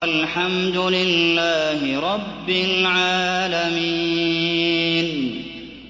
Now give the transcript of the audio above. وَالْحَمْدُ لِلَّهِ رَبِّ الْعَالَمِينَ